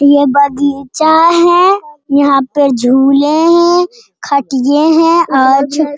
ये बगीचा है यहां पर झूले हैं खटिए है और --